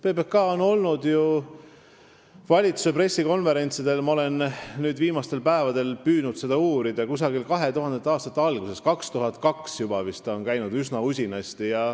PBK on käinud ju valitsuse pressikonverentsidel – ma olen viimastel päevadel püüdnud seda uurida – kusagil 2000. aastate algusest, vist 2002. aastast, üsna usinasti.